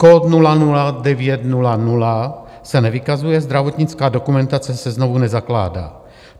Kód 00900 se nevykazuje, zdravotnická dokumentace se znovu nezakládá.